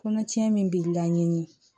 Kɔnɔcɛ min bi laɲini